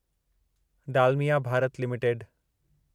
Dalmia Bharat limited